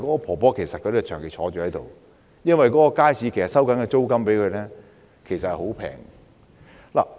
婆婆是長期坐在檔口的，而街市向她收取的租金其實十分便宜。